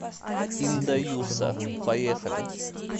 ин да юса поехали